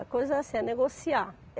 A coisa é assim, é negociar.